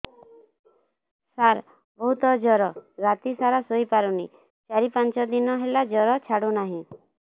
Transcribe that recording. ସାର ବହୁତ ଜର ରାତି ସାରା ଶୋଇପାରୁନି ଚାରି ପାଞ୍ଚ ଦିନ ହେଲା ଜର ଛାଡ଼ୁ ନାହିଁ